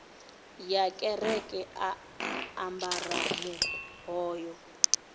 ya kereke a ambara muhoyo